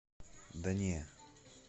да не